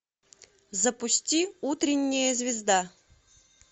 запусти утренняя звезда